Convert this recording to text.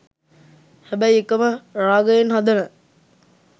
හැබැයි එකම රාගයෙන් හදන